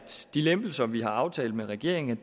de lempelser vi har aftalt med regeringen